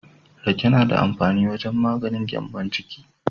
Rake na da amfani wajen maganin gyambon ciki.